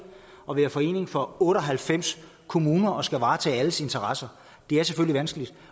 at være forening for otte og halvfems kommuner og at skulle varetage alles interesser det er selvfølgelig vanskeligt